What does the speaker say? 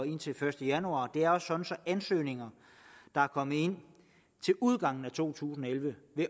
indtil første januar det er sådan at ansøgninger der kommer ind til udgangen af to tusind og elleve